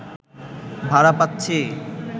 ভাড়া পাচ্ছি